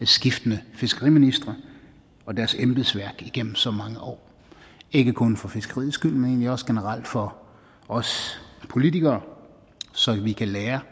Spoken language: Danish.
skiftende fiskeriministre og deres embedsværk igennem så mange år ikke kun for fiskeriets skyld men egentlig også generelt for os politikere så vi kan lære